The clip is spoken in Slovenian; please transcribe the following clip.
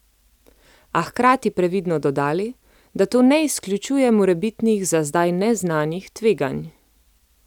A hkrati previdno dodali, da to ne izključuje morebitnih za zdaj neznanih tveganj.